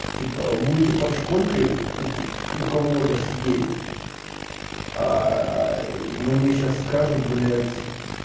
типа будете под шконкой у у кого-то сидеть мне сейчас скажут блядь